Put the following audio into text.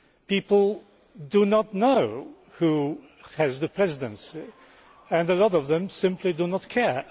People do not know who has the Presidency and a lot of them simply do not care.